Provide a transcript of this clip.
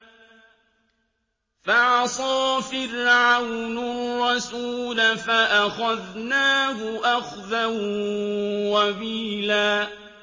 فَعَصَىٰ فِرْعَوْنُ الرَّسُولَ فَأَخَذْنَاهُ أَخْذًا وَبِيلًا